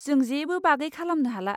जों जेबो बागै खालामनो हाला।